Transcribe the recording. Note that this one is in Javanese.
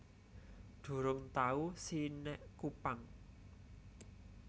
Durung tau si nek Kupang